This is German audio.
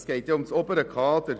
Es geht um das obere Kader.